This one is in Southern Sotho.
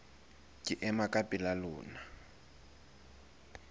ke ema ka pela lona